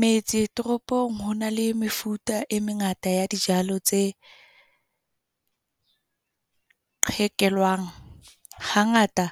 Metse toropong, ho na le mefuta e mengata ya dijalo tse qekelwang. Hangata